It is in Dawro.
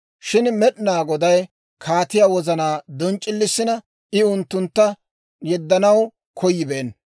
Shin Med'inaa Goday kaatiyaa wozanaa donc'c'ilissina I unttuntta yeddanaw koyibeenna.